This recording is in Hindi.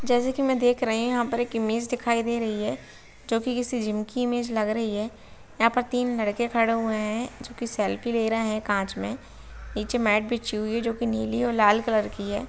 जैसे की मै देख रही हु यहाँ पर एक इमेज दिखाई दे रही हैं जो की किसी जिम की इमेज लग रही है। यहाँ पर तीन लड़के खड़े हुए है जो की सेल्फ़ि ले रहे है कांच मै। नीचे मैट बिछी हुई है जो की नीली और लाल कलर की है।